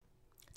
TV 2